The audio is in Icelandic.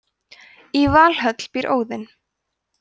í valhöll býr óðinn